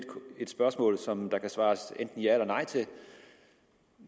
et spørgsmål som der kan svares enten ja eller nej til